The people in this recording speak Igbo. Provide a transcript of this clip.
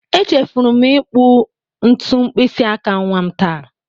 Echefuru m ịkpụ ntu mkpịsị aka nwa m taa.